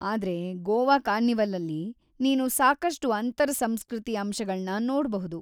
ಆದ್ರೆ, ಗೋವಾ ಕಾರ್ನಿವಲಲ್ಲಿ ನೀನು ಸಾಕಷ್ಟು ಅಂತರ್‌-ಸಂಸ್ಕೃತಿ ಅಂಶಗಳ್ನ ನೋಡ್ಬಹುದು.